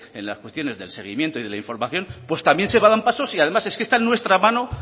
en las cuestiones del seguimiento y de la información pues también se van dando pasos y además es que esta en nuestra mano